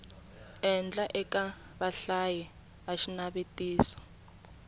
endlaka eka vahlayi va xinavetiso